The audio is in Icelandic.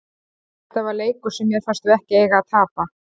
Þetta var leikur sem mér fannst við ekki eiga að tapa.